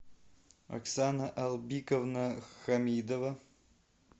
оксана албиковна хамидова